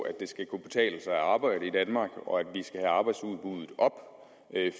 at det skal kunne betale sig at arbejde i danmark og at vi skal have arbejdsudbuddet op